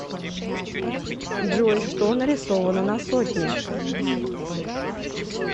джой что нарисовано на сотне